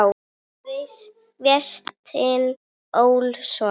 eftir Véstein Ólason